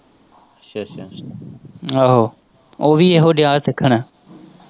ਆਹੋ ਉਹ ਵੀ ਉਹੀ ਦਿਆ ਸਿੱਖਣ।